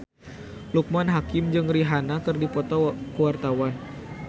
Loekman Hakim jeung Rihanna keur dipoto ku wartawan